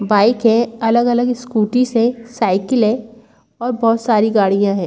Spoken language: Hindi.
बाइक है अलग-अलग स्कूटी है साइकिल है और बहुत सारी गाड़ियां हैं।